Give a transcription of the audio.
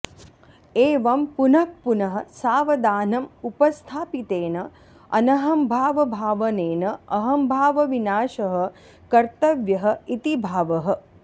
एवं पुनः पुनः सावधानं उपस्थापितेन अनहम्भावभावनेन अहम्भावविनाशः कर्तव्यः इति भावः